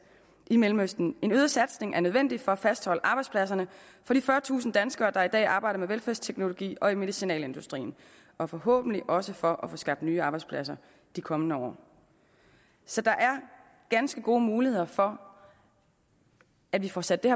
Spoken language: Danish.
i mellemøsten en øget satsning er nødvendig for at fastholde arbejdspladserne for de fyrretusind danskere der i dag arbejder med velfærdsteknologi og i medicinalindustrien og forhåbentlig også for at få skabt nye arbejdspladser de kommende år så der er ganske gode muligheder for at vi får sat det